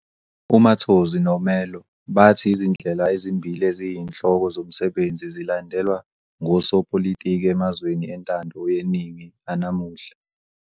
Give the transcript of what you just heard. UMattozzi noMerlo bathi izindlela ezimbili eziyinhloko zomsebenzi zilandelwa ngosopolitiki emazweni entando yeningi anamuhla.